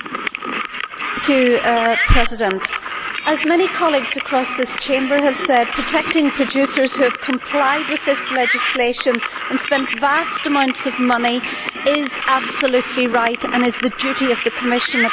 Mr President, as many colleagues across this Chamber have said, protecting producers who have complied with this legislation and spent vast amounts of money is absolutely right and is the duty of the Commission at this stage.